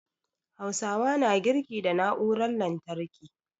Hausawa na girki da na'urar lantarki